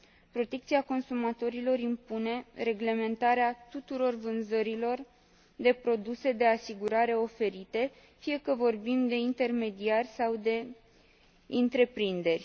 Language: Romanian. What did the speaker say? Protecția consumatorilor impune reglementarea tuturor vânzărilor de produse de asigurare oferite, fie că vorbim de intermediari sau de întreprinderi.